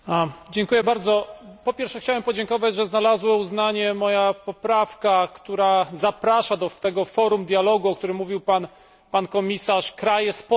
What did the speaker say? Po pierwsze chciałbym podziękować, że znalazła uznanie moja poprawka, która zaprasza do tego forum dialogu, o którym mówił pan komisarz, kraje spoza Unii Europejskiej.